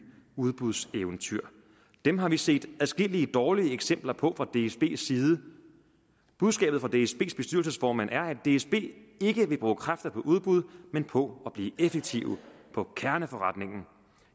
udbudseventyr dem har vi set adskillige dårlige eksempler på fra dsbs side budskabet fra dsbs bestyrelsesformand er at dsb ikke vil bruge kræfter på udbud men på at blive effektive på kerneforretningen